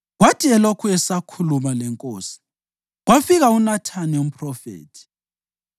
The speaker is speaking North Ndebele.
Kwathi elokhu esakhuluma lenkosi, kwafika uNathani umphrofethi.